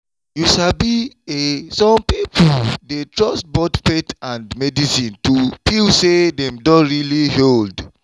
you sabi e some people dey trust both faith and medicine to feel say dem don really healed.